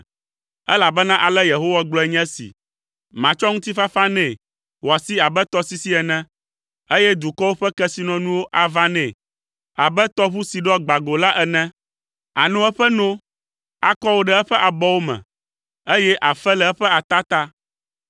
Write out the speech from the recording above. Elabena ale Yehowa gblɔe nye esi, “Matsɔ ŋutifafa nɛ wòasi abe tɔsisi ene, eye dukɔwo ƒe kesinɔnuwo ava nɛ abe tɔʋu si ɖɔ gbã go la ene. Àno eƒe no, akɔ wò ɖe eƒe abɔwo me, eye àfe le eƒe atata.